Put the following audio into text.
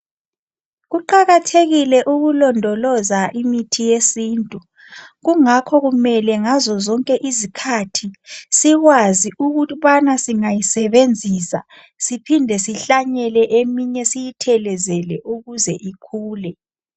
Kuqakathekile ukulondoloza imithi yesintu, kungakho kumele ngazozonke izikhathi sikwazi ukubana singayisebenzisa , siphinde sihlanyele eminye siyithelezele ukuze ikhule.